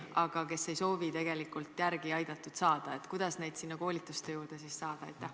Aga kui nad ei soovi tegelikult järele aidatud saada, kuidas neid sinna koolitustele saada?